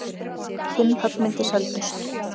Fimm höggmyndir seldust.